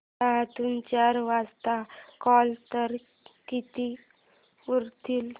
दहातून चार वजा केले तर किती उरतील